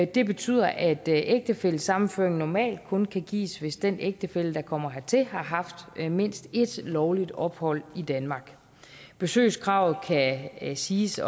det betyder at ægtefællesammenføring normalt kun kan gives hvis den ægtefælle der kommer hertil har haft mindst et lovligt ophold i danmark besøgskravet kan siges